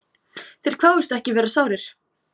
Þeir kváðust ekki vera sárir.